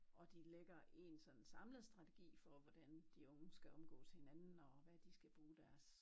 Og de lægger én sådan samlet strategi for hvordan de unge skal omgås hinanden og hvad de skal bruge deres